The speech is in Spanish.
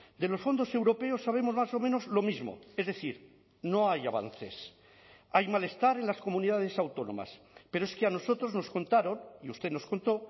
de los fondos europeos sabemos más o menos lo mismo es decir no hay avances hay malestar en las comunidades autónomas pero es que a nosotros nos contaron y usted nos contó